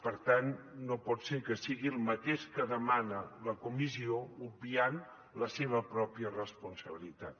per tant no pot ser que sigui el mateix que demana la comissió i obviï la seva pròpia responsabilitat